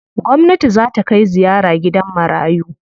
Gwamnati zaa ta kai ziyara gidan marayu.